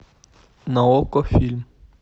на окко фильм